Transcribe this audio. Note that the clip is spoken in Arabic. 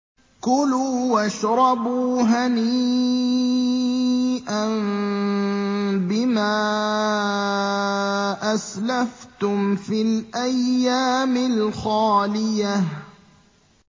كُلُوا وَاشْرَبُوا هَنِيئًا بِمَا أَسْلَفْتُمْ فِي الْأَيَّامِ الْخَالِيَةِ